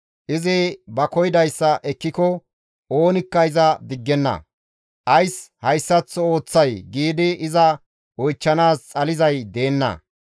Izi ba koyidayssa ekkiko oonikka iza diggenna; ‹Ays hayssaththo ooththay?› giidi iza oychchanaas xalizay deenna.